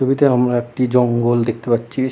ছবিতে আমরা একটি জঙ্গল দেখতে পাচ্ছি ।